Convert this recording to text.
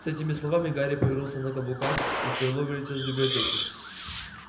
с этими словами гарри повернулся на каблуках и стрелой вылетел из библиотеки